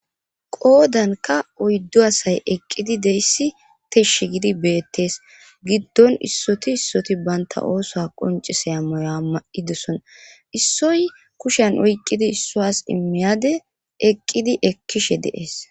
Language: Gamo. qoodanka oyddu asay eqqidi deyssi tishshi gidi beettees giddon issoti issoti banta oosa qoncise a maya ma7i dosona issoy kushen oyqqidi issoas immiyade eqqidi ekkishe deees